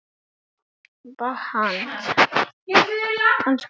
Á háum hælum.